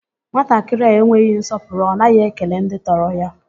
Nwatakịrị a enweghị nsọpụrụ, ọ naghị ekele ndị tọrọ ya